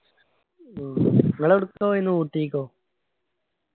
മ്മ് ഇങ്ങള് ഇവുടുക്ക പോയിന് ഊട്ടിക്കോ